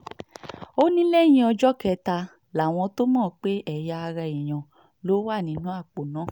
ó ní lẹ́yìn ọjọ́ kẹta làwọn tóo mọ̀ pé ẹ̀yà ara èèyàn ló wà nínú àpò náà